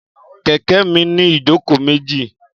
Kẹ̀kẹ́ mi ní ìjókòó méjì